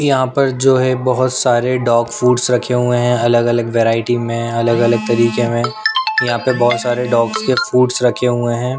यहाँ पर जो है बहुत सारे डॉग फूड्स रखे हुए हैं अलग अलग वैरायटी में अलग अलग तरीके में यहाँ पर बहुत सारे डॉग्स के फूड्स रखे हुए हैं।